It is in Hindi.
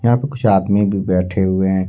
यहां पे कुछ आदमी भी बैठे हुए हैं।